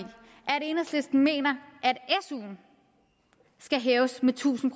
enhedslisten mener at suen skal hæves med tusind